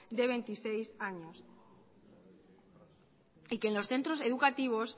de veintiséis años y que en los centros educativos